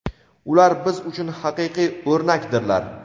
Ular biz uchun haqiqiy o‘rnakdirlar.